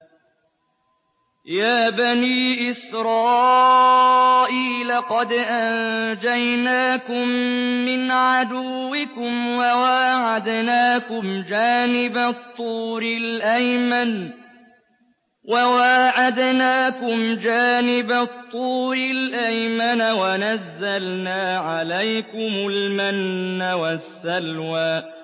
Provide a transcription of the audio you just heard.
يَا بَنِي إِسْرَائِيلَ قَدْ أَنجَيْنَاكُم مِّنْ عَدُوِّكُمْ وَوَاعَدْنَاكُمْ جَانِبَ الطُّورِ الْأَيْمَنَ وَنَزَّلْنَا عَلَيْكُمُ الْمَنَّ وَالسَّلْوَىٰ